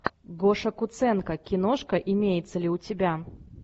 гоша куценко киношка имеется ли у тебя